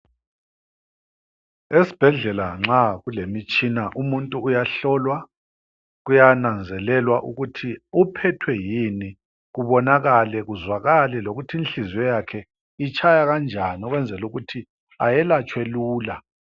Esibhedlela nxa kulemitshina umuntu uyahlolwa, kuyananzelelwa ukuthi uphethwe yini kubonakale, kuzwakale lokuthi inhliziyo yakho itshaya kanjani ukwenzela ukuthi ayelatshwe lula.